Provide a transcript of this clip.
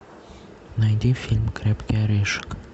найди фильм крепкий орешек